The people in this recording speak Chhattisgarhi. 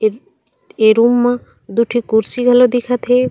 ए रूम मा दु ठी कुर्सी घला दिखत हे।